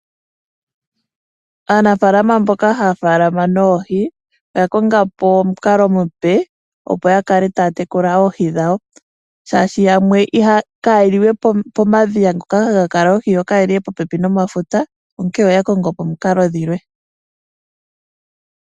Aanafaalama mboka haya faalama noohi oya konga po omukalo omupe opo ya kale taya tekula oohi dhawo shaashi yamwe kaye li we pomadhiya ngoka haga kala oohi, yo kaye li we popepi nomafuta onkene oya kongo po omikalo dhilwe.